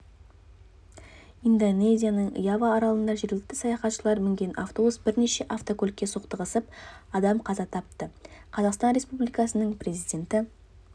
индонезияның ява аралында жергілікті саяхатшылар мінген автобус бірнеше автокөлікке соқтығысып адам қаза тапты қазақстан республикасының президенті